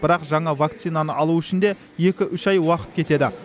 бірақ жаңа вакцинаны алу үшін де екі үш ай уақыт кетеді